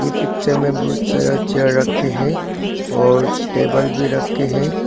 Picture में बहुत सारा चेयर रखे हैं और टेबल भी रखे हैं।